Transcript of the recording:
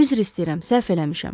Üzr istəyirəm, səhv eləmişəm.